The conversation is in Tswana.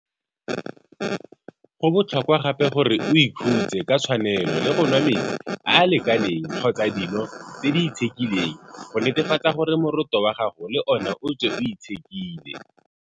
Go botlhokwa gape gore o ikhutse ka tshwanelo le go nwa metsi a a lekaneng kgotsa dino tse di itshekileng go netefatsa gore moroto wa gago le ona o tswe o itshekile.